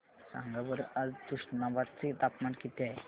सांगा बरं आज तुष्णाबाद चे तापमान किती आहे